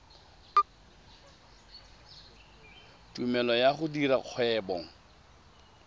tumelelo ya go dira kgwebo